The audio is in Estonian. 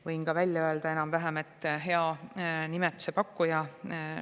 Võin ka välja öelda, et hea nime pakkuja …